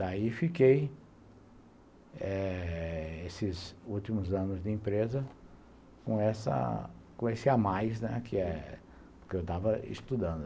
Daí fiquei eh... Esses últimos anos de empresa com esse a mais que eu estava estudando.